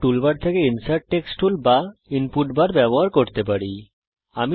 আমরা toolbar থেকে insert text tool ব্যবহার করতে পারি অথবা আমরা ইনপুট বার ব্যবহার করতে পারি